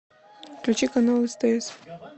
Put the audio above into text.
включи канал стс